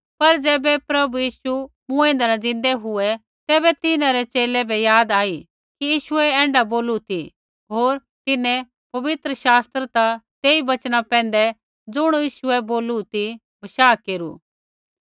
पर ज़ैबै प्रभु यीशु मूँऐंदै न ज़िन्दै हुऐ तैबै तिन्हां रै च़ेले बै याद आई कि यीशुऐ ऐण्ढा बोलू ती होर तिन्हैं पवित्र शास्त्र ता तेई वचना पैंधै ज़ुण यीशुऐ बोले ती बशाह केरू